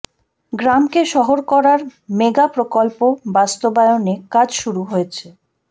গ্রামকে শহর করার মেগা প্রকল্প বাস্তবায়নে কাজ শুরু হয়েছে